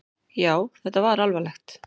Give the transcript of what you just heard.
Já, þetta var alvarlegt!